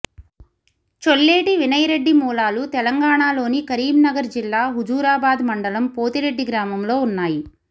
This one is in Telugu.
చొల్లేటి వినయ్ రెడ్డి మూలాలు తెలంగాణలోని కరీంనగర్ జిల్లా హుజురాబాద్ మండలం పోతిరెడ్డి గ్రామంలో ఉన్నాయి